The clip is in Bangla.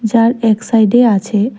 যার এক সাইডে আছে--